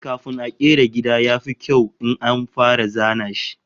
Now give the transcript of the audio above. Eh, kafin a kera gida, ya fi kyau in an fara zana shi